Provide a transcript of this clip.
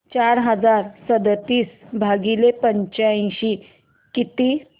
चार हजार सदतीस भागिले पंच्याऐंशी किती